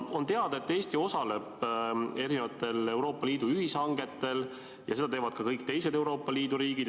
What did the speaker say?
On teada, et Eesti osaleb Euroopa Liidu ühishangetel ja seda teevad ka kõik teised Euroopa Liidu riigid.